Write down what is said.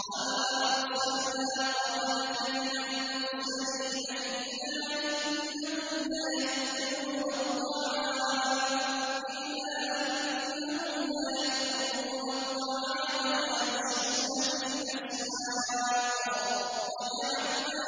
وَمَا أَرْسَلْنَا قَبْلَكَ مِنَ الْمُرْسَلِينَ إِلَّا إِنَّهُمْ لَيَأْكُلُونَ الطَّعَامَ وَيَمْشُونَ فِي الْأَسْوَاقِ ۗ وَجَعَلْنَا